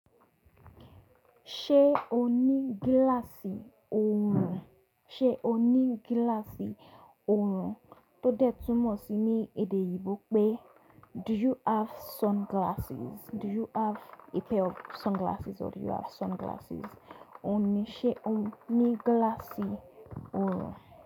Ṣé o ní gíláàsì oorun? Ṣé o ní gíláàsì oorun tó dẹ́tù mọ́ sí ní èdè oyinbó pé “Do you have sunglasses? Do you have a pair of sunglasses or do you have sunglasses?” Ó ní ṣé o ní gíláàsì oorun.